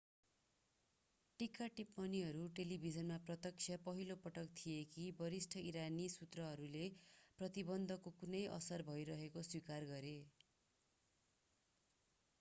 टीका-टिप्पणीहरू टेलिभिजनमा प्रत्यक्ष पहिलो पटक थिए कि वरिष्ठ ईरानी सुत्रहरूले प्रतिबन्धको कुनै असर भइरहेको स्वीकार गरे